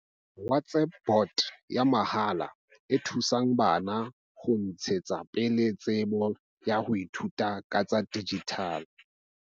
WhatsApp bot ya mahala e thusang bana ho ntshetsa pele tsebo ya ho ithuta ka tsa dijithale.